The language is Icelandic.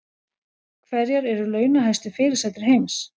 Hverjar eru launahæstu fyrirsætur heims